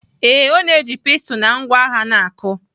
Ee, ọ na-eji pestle na ngwa agha na-akụ.